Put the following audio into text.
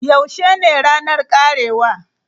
Yaushe ne ranar karewa?